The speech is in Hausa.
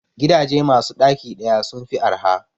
Gidaje masu ɗaki ɗaya sun fi arha